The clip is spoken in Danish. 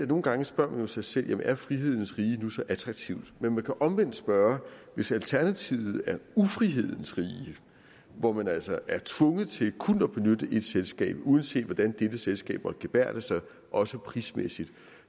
nogle gange spørger sig selv jamen er frihedens rige nu så attraktivt men man kan omvendt spørge hvis alternativet er ufrihedens rige hvor man altså er tvunget til kun at benytte ét selskab uanset hvordan dette selskab måtte gebærde sig også prismæssigt